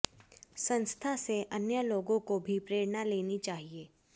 संस्था से अन्य लोगों को भी प्रेरणा लेनी चाहिए